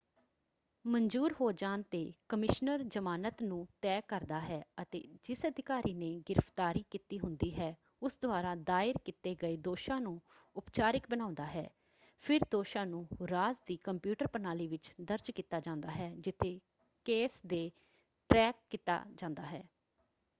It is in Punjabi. ਮਨਜੂਰ ਹੋ ਜਾਣ ‘ਤੇ ਕਮਿਸ਼ਨਰ ਜਮਾਨਤ ਨੂੰ ਤੈਅ ਕਰਦਾ ਹੈ ਅਤੇ ਜਿਸ ਅਧਿਕਾਰੀ ਨੇ ਗ੍ਰਿਫਤਾਰੀ ਕੀਤੀ ਹੁੰਦੀ ਹੈ ਉਸ ਦੁਆਰਾ ਦਾਇਰ ਕੀਤੇ ਗਏ ਦੋਸ਼ਾਂ ਨੂੰ ਉਪਚਾਰਿਕ ਬਣਾਉਂਦਾ ਹੈ। ਫਿਰ ਦੋਸ਼ਾਂ ਨੂੰ ਰਾਜ ਦੀ ਕੰਪਿਊਟਰ ਪ੍ਰਣਾਲੀ ਵਿੱਚ ਦਰਜ ਕੀਤਾ ਜਾਂਦਾ ਹੈ ਜਿੱਥੇ ਕੇਸ ਦੀ ਟ੍ਰੈਕ ਕੀਤਾ ਜਾਂਦਾ ਹੈ।